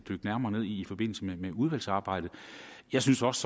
mere ned i forbindelse med udvalgsarbejdet jeg synes også